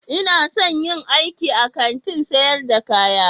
Ina son in yi aiki a Kantin sayar da kaya